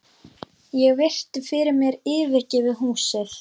Ég virti fyrir mér yfirgefið húsið.